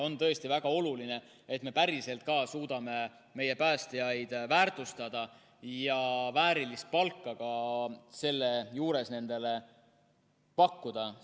On tõesti väga oluline, et me päriselt ka suudame meie päästjaid väärtustada ja selle juures nendele ka väärilist palka pakkuda.